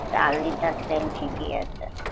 চার liter তেল ঠিকই আছে